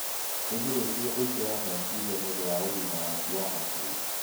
wĩgirĩrĩrie ũingĩ wa mecirĩa nĩũndũ wa ũgima waku wa hakiri